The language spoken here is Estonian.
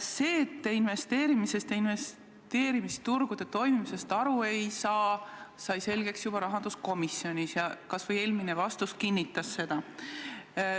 See, et te investeerimisest ja investeerimisturgude toimimisest aru ei saa, sai selgeks juba rahanduskomisjonis ja ka eelmine vastus kinnitas seda.